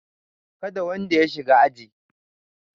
Kada wanda ya shiga aji!